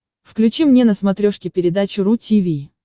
включи мне на смотрешке передачу ру ти ви